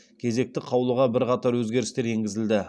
кезекті қаулыға бірқатар өзгерістер енгізілді